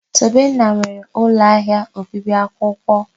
Tobenna nwere ụlọ ahịa obibi akwụkwọ.